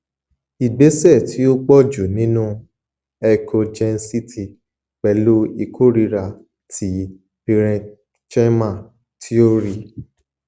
igbesẹ ti o pọju ninu echogencity pẹlu ikorira ti parenchyma ti o rii